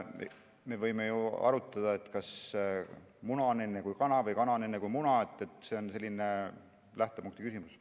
Me võime ju arutada, kas muna on enne kui kana või kana on enne kui muna – see on selline lähtepunkti küsimus.